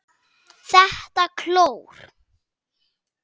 ÞETTA KLÓR!